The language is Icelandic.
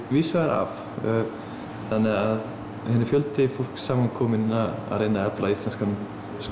víðs vegar að þannig að þetta er fjöldi fólks samankominn að reyna að efla íslenskan